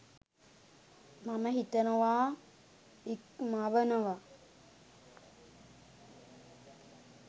මම හිතනවා ඉක්මවනවා.